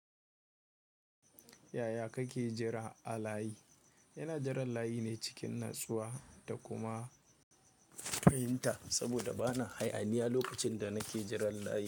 Yaya kake jira a layi? Ina jiran layi ne cikin natsuwa da kuma fahimta saboda ba na hayaniya lokacin da nake jiran layi.